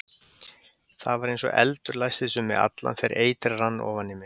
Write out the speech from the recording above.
Það var eins og eldur læstist um mig allan þegar eitrið rann ofan í mig.